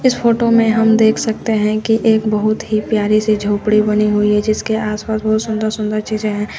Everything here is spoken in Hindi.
इस फोटो में हम देख सकते हैं कि एक बहुत ही प्यारी सी झोपड़ी बनी हुई है जीसके आस पास बहोत सुंदर सुंदर चीज़ें हैं।